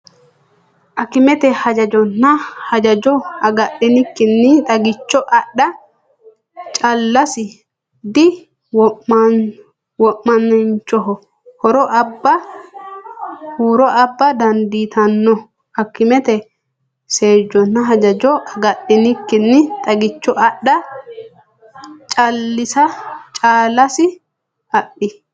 Akimete seejjonna hajajo agadhinikkinni xagicho adha callase dhi- wamaanchoho huro abba dandiitanno Akimete seejjonna hajajo agadhinikkinni xagicho adha callase dhi-.